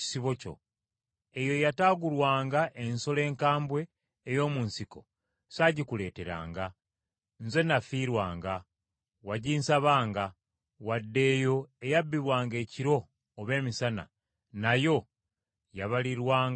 Eyo eyataagulwanga ensolo enkambwe ey’omu nsiko saagikuleeteranga, nze nafiirwanga, waginsabanga, wadde eyo eyabbibwanga ekiro oba emisana nayo yabalirwanga ku nze.